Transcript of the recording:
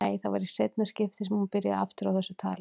Nei, það var í seinna skiptið sem hún byrjaði aftur á þessu tali.